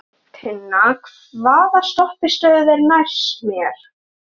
Arntinna, hvaða stoppistöð er næst mér?